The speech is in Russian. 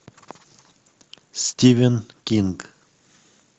стивен кинг